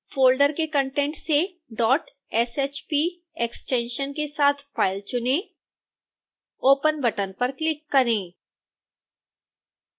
folder के content से shp extension के साथ फाइल चुनें